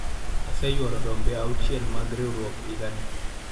aseyuoro rombe auchiel mag riwruok higa ni